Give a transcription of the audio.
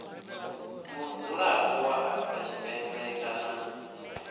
mudzulapo wa afrika tshipembe kana